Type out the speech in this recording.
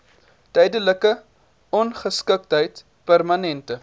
tydelike ongeskiktheid permanente